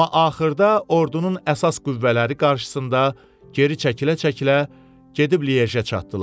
Amma axırda ordunun əsas qüvvələri qarşısında geri çəkilə-çəkilə gedib Liejə çatdılar.